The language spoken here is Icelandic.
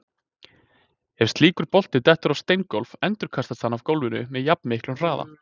Ef slíkur bolti dettur á steingólf endurkastast hann af gólfinu með jafnmiklum hraða.